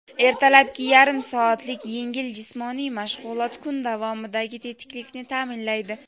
Ertalabki yarim soatlik yengil jismoniy mashg‘ulot kun davomidagi tetiklikni ta’minlaydi.